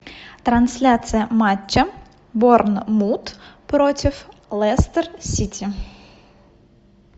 трансляция матча борнмут против лестер сити